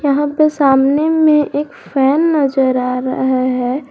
यहां पे सामने में एक फैन नजर आ रहा है।